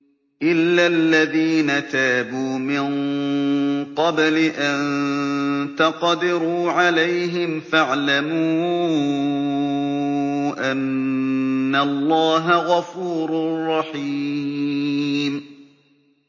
إِلَّا الَّذِينَ تَابُوا مِن قَبْلِ أَن تَقْدِرُوا عَلَيْهِمْ ۖ فَاعْلَمُوا أَنَّ اللَّهَ غَفُورٌ رَّحِيمٌ